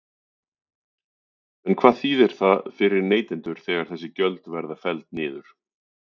En hvað þýðir það fyrir neytendur þegar þessi gjöld verða felld niður?